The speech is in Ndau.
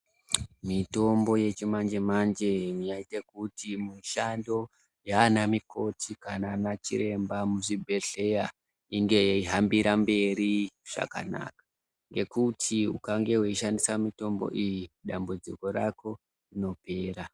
Mitombo yechimanje- manje ,yaita kuti mishando yaanamikoti kana ana chiremba muzvibhehleya inge yeihambira mberi zvakanaka .Ngekuti ,ukange weishandisa mitombo iyoyi ,dambudziko rako rinopera.